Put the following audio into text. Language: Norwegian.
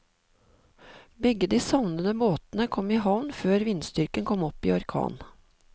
Begge de savnede båtene kom i havn før vindstyrken kom opp i orkan.